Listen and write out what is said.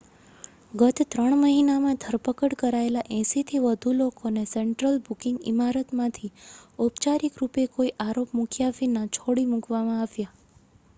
ગત 3 મહિનામાં ધરપકડ કરાયેલા 80થી વધુ લોકોને સેન્ટ્રલ બુકિંગ ઇમારતમાંથી ઔપચારિક રૂપે કોઈ આરોપ મૂક્યા વિના છોડી મૂકવામાં આવ્યા